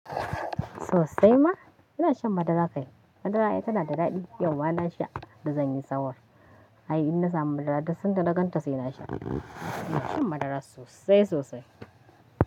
Sosai ma. Ina shan madara kai. Madara ai tanada daɗi. Yauma nasha, da zanyi sahur. Ai in na samu madara duk sanda na ganta saina sha. Ina shan madara sosai sosai.